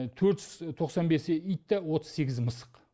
төрт жүз тоқсан бесі ит та отыз сегізі мысық